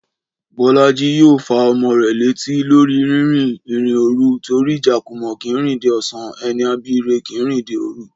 Bọ́lájí yóò fà ọmọ rẹ̀ létí lórí rírin ìrìn-òru torí ìjakùmọ̀ kì í rìnde ọ̀sán, ẹni-a-bíi-re kì í rìnde òru